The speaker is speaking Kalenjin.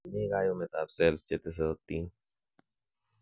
tinyei kayumet ab cells chetesotin